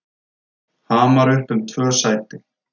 Hamar upp um tvö sæti